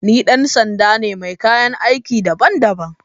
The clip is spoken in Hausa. Ni dan sanda ne mai kayan aiki daban-daban.